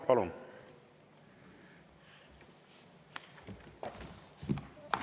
Palun!